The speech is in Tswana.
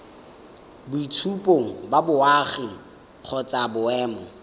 boitshupo ba boagi kgotsa boemo